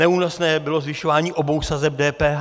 Neúnosné bylo zvyšování obou sazeb DPH.